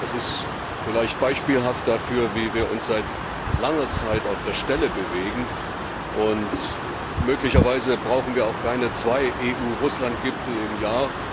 Das ist vielleicht beispielhaft dafür, wie wir seit langer Zeit auf der Stelle treten. Möglicherweise brauchen wir auch keine zwei EU Russland Gipfel im Jahr.